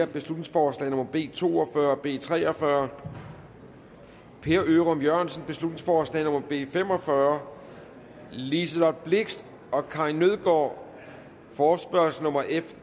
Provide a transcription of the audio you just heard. beslutningsforslag nummer b to og fyrre og beslutningsforslag b tre og fyrre per ørum jørgensen beslutningsforslag nummer b fem og fyrre liselott blixt og karin nødgaard forespørgsel nummer f